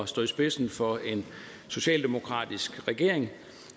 stå i spidsen for en socialdemokratisk regering